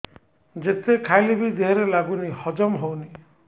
ଯେତେ ଖାଇଲେ ବି ଦେହରେ ଲାଗୁନି ହଜମ ହଉନି